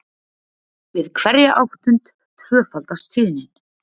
við hverja áttund tvöfaldast tíðnin